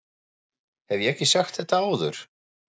Hef ég ekki sagt þetta áður?